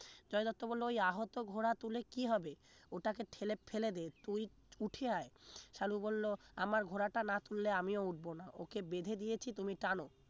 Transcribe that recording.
জয় দত্ত বলল ওই আহত ঘোড়া তুলে কি হবে? ওটাকে ঠেলে ফেলেদে তুই উঠে আয় সালু বললো আমার ঘোড়াটা না তুললে আমিও উঠবো না ওকে বেঁধে দিয়েছি তুমি টানো